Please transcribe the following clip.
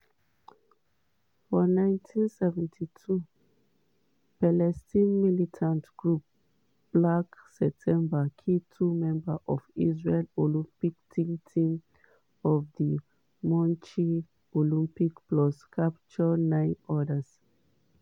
for 1972 palestine militant group black september kill two members of israel olympic team team for di munich olympics plus capture nine odas.